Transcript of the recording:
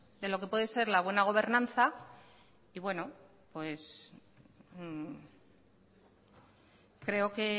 de lo que pueda ser la buena gobernanza